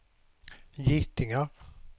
getingar